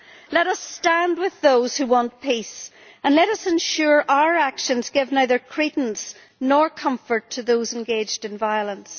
Let us stand with those who want peace, and let us ensure that our actions give neither credence nor comfort to those engaged in violence.